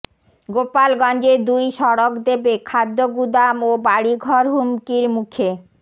গোপালগঞ্জে দুই সড়ক দেবে খাদ্যগুদাম ও বাড়িঘর হুমকির মুখে